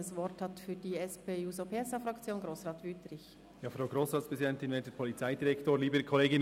Das Wort hat Grossrat Wüthrich für die SP-JUSO-PSA-Fraktion.